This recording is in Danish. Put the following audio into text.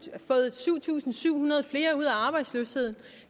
tusind syv hundrede flere ud af arbejdsløshed